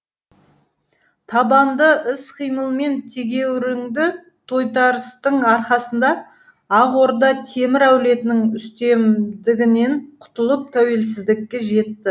табанды іс қимыл мен тегеурінді тойтарыстың арқасында ақ орда темір әулетінің үстемдігінен құтылып тәуелсіздікке жетті